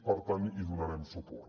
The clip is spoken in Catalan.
per tant hi donarem suport